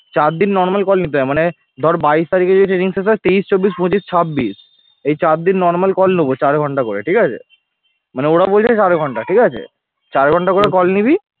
চার দিন normal call নিতে হবে মানে ধর বাইশ তারিখে যদি training শেষ হয় তেইশ চব্বিশ পঁচিশ ছাব্বিশ এই চার দিন normal call নেব চার ঘণ্টা করে ঠিক আছে মানে ওরা বলছে চার ঘণ্টা ঠিক আছে চার ঘণ্টা করে call নিবি